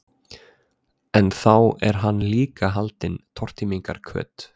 En þá er hann líka haldinn tortímingarhvöt.